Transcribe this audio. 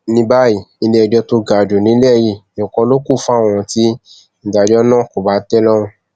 ní báyìí iléẹjọ tó ga jù nílẹ yìí nìkan ló kù fún àwọn tí ìdájọ náà kò bá tẹ lọrùn